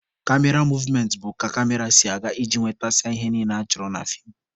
Kamera movementị bụ ka kamera si aga iji nwetasịa ihe niile achọrọ na feem.